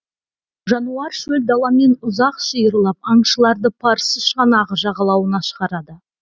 жануар шөл даламен ұзақ шиырлап аңшыларды парсы шығанағы жағалауына шығарады